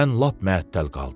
Mən lap məəttəl qaldım.